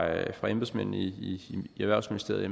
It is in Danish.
embedsmændene i erhvervsministeriet